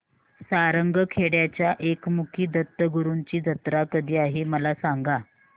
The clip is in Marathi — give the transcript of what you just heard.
सारंगखेड्याच्या एकमुखी दत्तगुरूंची जत्रा कधी आहे मला सांगा